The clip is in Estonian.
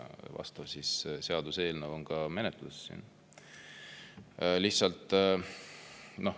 Vastav seaduseelnõu on siin ka menetluses.